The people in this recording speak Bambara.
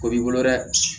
O b'i bolo dɛ